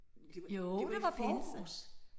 Det det var da i forgårs